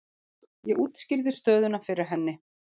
Ég útskýrði stöðuna fyrir henni.